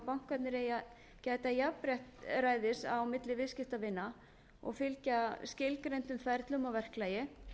bankarnir eiga að gæta jafnræðis á milli viðskiptavina og fylgja skilgreindum ferlum og verklagi